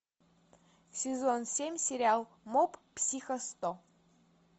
сезон семь сериал моб психо сто